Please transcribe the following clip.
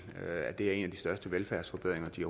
at det er en af de største velfærdsforbedringer de